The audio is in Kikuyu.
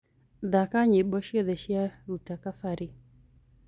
thaka nyĩmbo cĩothe cĩa luta kabari